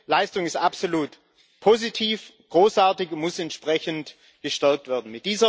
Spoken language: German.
Diese Leistung ist absolut positiv, großartig und muss entsprechend gestärkt werden.